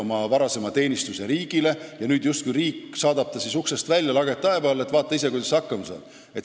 Ta pühendus teenistuse ajal riigile ja nüüd riik saadab ta justkui uksest välja lageda taeva alla, et vaata ise, kuidas sa hakkama saad.